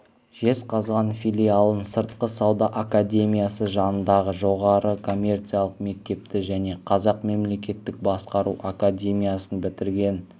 жезқазған филиалын сыртқы сауда академиясы жанындағы жоғары коммерциялық мектепті және қазақ мемлекеттік басқару академиясын бітірген